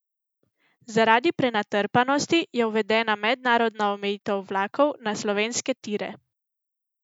Zaradi prenatrpanosti je uvedena mednarodna omejitev vlakov na slovenske tire.